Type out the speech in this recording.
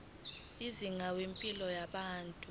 izinga lempilo yabantu